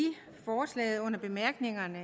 bemærkningerne